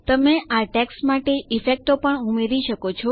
તમે આ ટેક્સ્ટ માટે ઈફેક્ટો પણ ઉમેરી શકો છો